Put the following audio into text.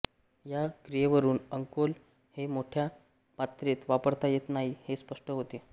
ह्या क्रियेवरून अंकोल हे मोठ्या मात्रेंत वापरता येत नाही हे स्पष्ट होते